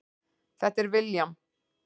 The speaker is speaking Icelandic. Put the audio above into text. Þetta er William.